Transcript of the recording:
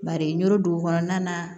Bari n yɔrɔ dugu kɔnɔna na